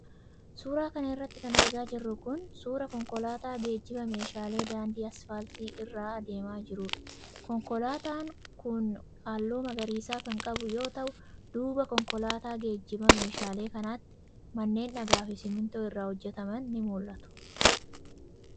Suura kana irratti kan argaa jirru kun ,suura konkolaataa geejiba meeshaalee daandii asfaaltii irra adeemaa jiruudha. Konkolaataawwan kun haalluu magariisa kan qabu yoo ta'u, duuba konkolaataa geejiba meeshaalee kanaatti manneen dhagaa fi simiintoo irraa hojjataman ni mul'atu.